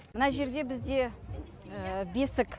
мына жерде бізде бесік